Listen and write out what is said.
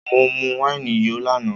Mọ mu wáìnì yó lánàá